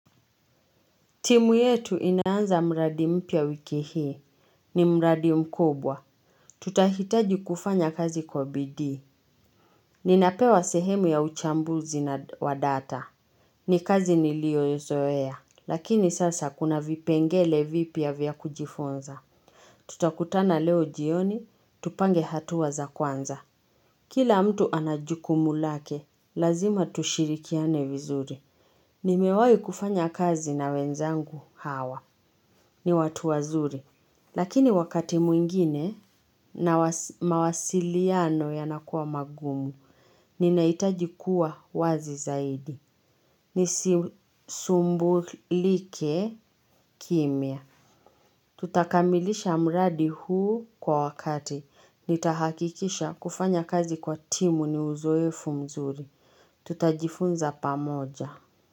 Timu yetu inaanza mradi mpya wiki hii, ni mradi mkubwa. Tutahitaji kufanya kazi kwa bidii Ninapewa sehemu ya uchambuzi wa data. Ni kazi nilioyoizoea, lakini sasa kuna vipengele vipya vya kujifunza. Tutakutana leo jioni, tupange hatua za kwanza. Kila mtu ana jukumu lake, lazima tushirikiane vizuri. Nimewai kufanya kazi na wenzangu hawa. Ni watu wazuri, lakini wakati mwingine na mawasiliano yanakua magumu, ninaitaji kuwa wazi zaidi. Nisisumbulike kimya. Tutakamilisha mradi huu kwa wakati. Nitahakikisha kufanya kazi kwa timu ni uzoefu mzuri. Tutajifunza pamoja.